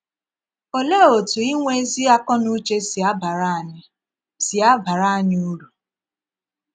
Òlee otú inwe ezí akọnùché sí abara anyị sí abara anyị uru?